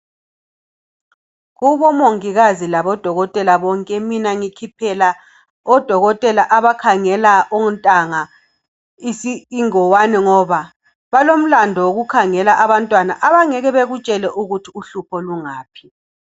Kubomongikazi labodokotela bonke mina ngikhiphela odokotela abakhangela ontanga ingwane ngoba balolandu okukhangela abangeke bakutshele ukuthi ukuthi uhlupho lungaphi.